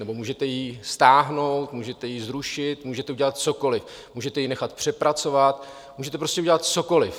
nebo můžete ji stáhnout, můžete ji zrušit, můžete udělat cokoliv, můžete ji nechat přepracovat, můžete prostě udělat cokoliv.